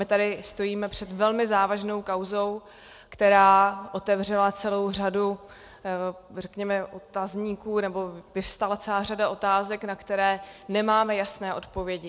My tady stojíme před velmi závažnou kauzou, která otevřela celou řadu, řekněme, otazníků, nebo vyvstala celá řada otázek, na které nemáme jasné odpovědi.